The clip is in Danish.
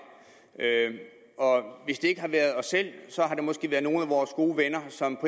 hvis det ikke har været os selv har det måske været nogle af vores gode venner som